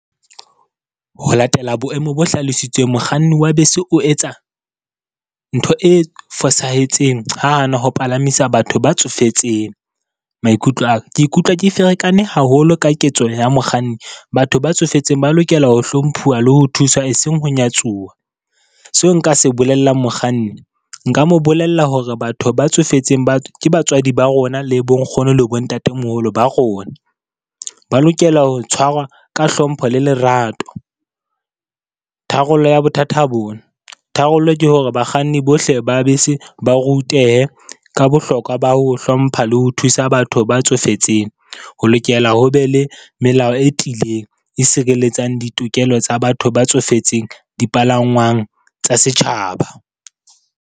Ho latela boemo bo hlalositsweng, mokganni wa bese o etsa ntho e fosahetseng ha hana ho palamisa batho ba tsofetseng. Maikutlo a ka, ke ikutlwa ke ferekane haholo ka ketso ya mokganni. Batho ba tsofetseng ba lokela ho hlomphuwa le ho thuswa e seng ho nyatsuwa. Seo nka se bolellang mokganni, nka mo bolella hore batho ba tsofetseng ba ke batswadi ba rona, le bo nkgono le bo ntatemoholo ba rona. Ba lokela ho tshwarwa ka hlompho le lerato. Tharollo ya bothata bona, tharollo ke hore bakganni bohle ba bese ba rutehe ka bohlokwa ba ho hlompha le ho thusa batho ba tsofetseng. Ho lokela ho be le melao e tiileng, e sireletsang ditokelo tsa batho ba tsofetseng dipalangwang tsa setjhaba.